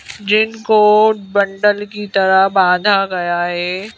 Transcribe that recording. जिनको बंडल की तरह बांधा गया है।